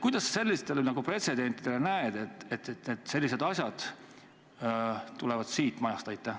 Kuidas sa sellistele pretsedentidele vaatad, et sellised asjad tulevad siit majast?